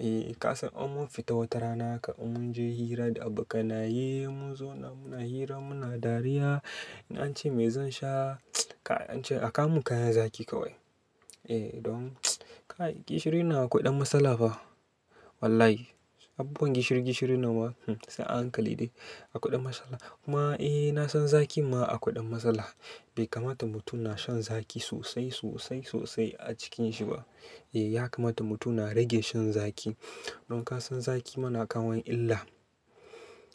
Eh kasan in mun fita wata rana haka in mun je hira da abokanaye mun zo na muna hira muna dariya. In an ce me zan sha? Kai ance a kawo mun kayan zaƙi kawai. Eh don kai gishirin nan akwai ɗan matsala fa. Wallahi abubuwan gishiri gishirin nan ba sai a hankali dai. Akwai ɗan matsala. Kuma eh na san zaƙi ma akwai ɗan matsala. Bai kamata mutum na shan zaƙi sosai sosai sosai a ciki nshi ba. Eh ya kamata mutum na rage shan zaƙi. Don kasan zaƙi ma na kawo illa.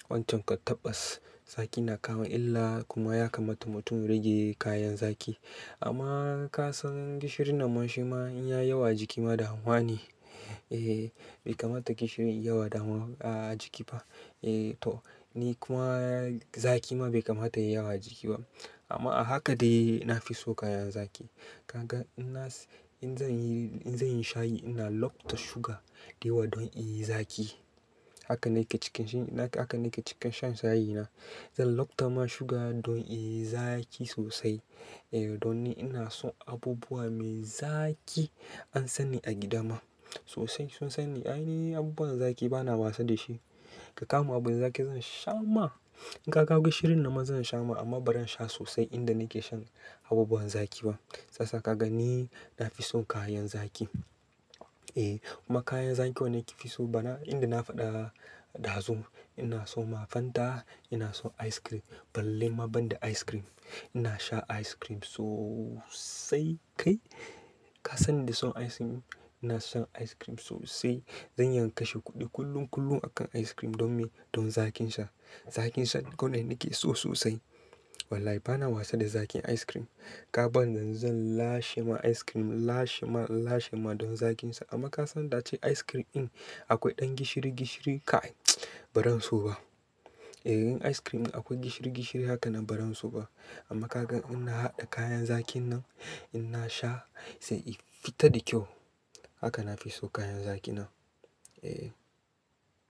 Wancan kam tabbas zaƙi na kawo illa kuma ya kamata mutum ya rage kayan zaƙi amma kasan gishirin nan man shi ma in yayi yawa a jiki ma damuwa ne. Eh bai kamata gishiri yayi yawa dama a jiki ba. Eh to ni kuma zaƙi ma bai kamata yayi yawa a jiki ba. Amma a haka dai na fi so kayan zaƙi. Kaga ina in zan yi, in zan yi shayi ina lafta shuga dayawa dan yayi zaƙi. Haka nake cikin shi, haka nake cika shan shayi na. Zan lock ta ma shuga don in yi zaki sosai. Eh don ni ina son abubuwa mai zaƙi an san ni a gida ma sosai sun san ni. Ai ni abubuwan zaƙi bana wasa da shi. Ka kawo mun abun zaƙi zan sha ma. In ka kawo gishirin nan ma zan sha ma amma ba zan sha sosai inda nake shan abubuwan zaƙi ba. Shi yasa ka ga ni na fi so kayan zaƙi. Eh kuma kayan zaƙi wanda nake fi so bana, inda na faɗa ɗazo ina so ma Fanta ina so ice cream. Balle ma banda ice cream. Ina shan ice cream sosai kai. Kasan ni da son ice cream? Ina son ice cream sosai. Zan iya in kashe kuɗi kullum kullum akan ice cream don me? Don zaƙinsa. Zaƙinsa kawai nake so sosai. Wallahi bana wasa da zaƙin ice cream. In kaban yanzu zan lashe ma ice cream in lashe ma in lashe ma don zaƙin sa amma kasan da ace ice cream din akwai ɗan gishiri-gishiri kai ba zan so ba eh in ice cream ɗin akwai gishiri gishiri hakan nan ba zan so ba. Amma ka ga ina haɗa kayan zaƙin nan ina sha sai in fita da kyau. Haka na fi so kayan zaƙin nan. Eh.